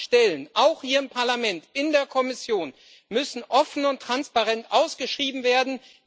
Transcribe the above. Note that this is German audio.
Alle Stellen auch hier im Parlament, in der Kommission müssen offen und transparent ausgeschrieben werden.